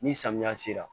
Ni samiya sera